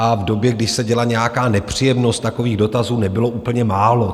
A v době, když se děla nějaká nepříjemnost, takových dotazů nebylo úplně málo.